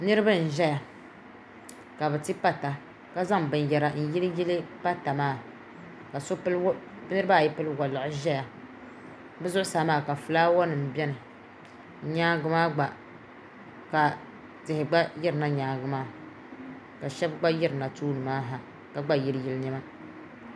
Niriba n ʒɛya. Ka bɛ ti pata ka zaŋ binyera n yili pata maa. Ka niriba ayi pili walɔɣj n ʒɛya. Bɛ zuɣu saa maa ka flaawanim beni. Nyaaŋa maa gba ka tihi gba yirina nyaaŋa maa ka so gba yiri na tooni maa ha ka gba yili yili niema.